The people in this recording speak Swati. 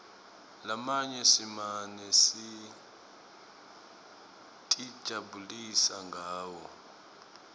lamanye simane sitijabulisa ngawo